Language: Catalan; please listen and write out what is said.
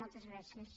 moltes gràcies